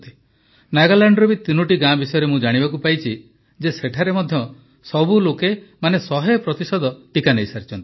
ନାଗାଲ୍ୟାଣ୍ଡର ବି ତୋନୋଟି ଗାଁ ବିଷୟରେ ମୁଁ ଜାଣିବାକୁ ପାଇଛି ଯେ ସେଠାରେ ମଧ୍ୟ ସବୁ ଲୋକ ଶତ ପ୍ରତିଶତ ଟିକା ନେଇସାରିଛନ୍ତି